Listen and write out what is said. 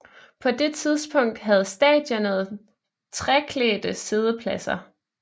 På det tidspunkt havde stadionet træklædte siddepladser